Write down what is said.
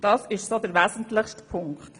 Das ist der wesentliche Punkt.